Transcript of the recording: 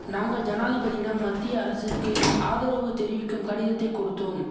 நாங்கள் ஜனாதிபதியிடம் மத்திய அரசுக்கு ஆதரவு தெரிவிக்கும் கடிதத்தை கொடுத்தோம்